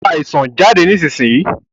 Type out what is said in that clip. Ìwọ àìsàn, jáde nísinsìnyí!